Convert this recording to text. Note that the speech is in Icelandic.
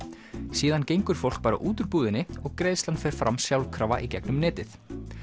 síðan gengur fólk bara út úr búðinni og greiðslan fer fram sjálfkrafa í gegnum netið